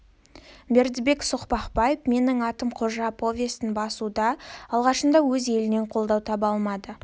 бердібек соқпақбаев менің атым қожа повестін басуда алғашында өз елінен қолдау таба алмайды